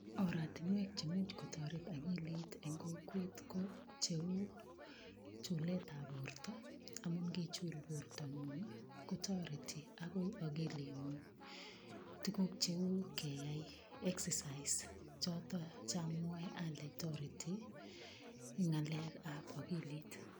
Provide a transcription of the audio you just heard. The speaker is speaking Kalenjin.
Oratinwek chemuch kotoret akilit eng kokwet ko, cheu chuletab borta, angot ngichul bortangung ii kotareti akoi akilingung, tukuk cheu keyai excercise choto cha mwae ale toreti eng ngalekab akilit.